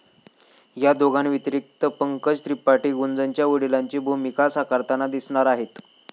या दोघांव्यतिरिक्त पंकज त्रिपाठी गुंजनच्या वडिलांची भूमिका साकारताना दिसणार आहेत.